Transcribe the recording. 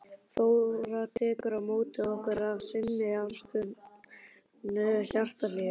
Þóra tekur á móti okkur af sinni alkunnu hjartahlýju.